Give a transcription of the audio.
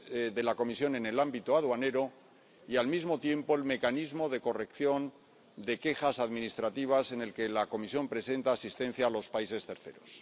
de la Comisión en el ámbito aduanero, y el otro al mecanismo de corrección de quejas administrativas con el que la Comisión presenta asistencia a los países terceros.